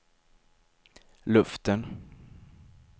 luften